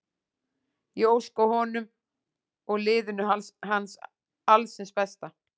Ég óska honum og liðinu alls hins besta.